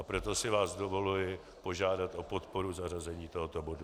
A proto si vás dovoluji požádat o podporu zařazení tohoto bodu.